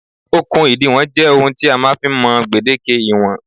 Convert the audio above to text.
Okùn ìdiwọ̀n jẹ́ ohun tí a máa ń fi ń mọ gbèdéke ìwọ̀n